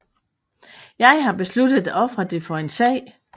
Jeg har besluttet at ofre det for en sag